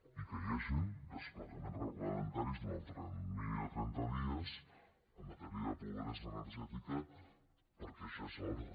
i que hi hagin desplegaments reglamentaris durant el termini de trenta dies en matèria de pobresa energètica perquè ja és hora